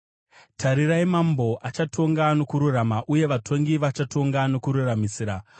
Tarirai mambo achatonga nokururama, uye vatongi vachatonga nokururamisira.